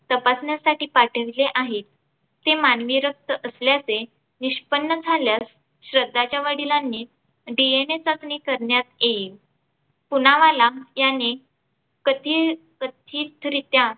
तपासण्यासाठी पाठविले आहे. ते मानवी रक्त असल्याचे निष्पन्न झाल्यास श्रद्धाच्या वडिलांनी DNA चाचणी करण्यात येईल. पुनावाला याने कथील तीर्थरित्या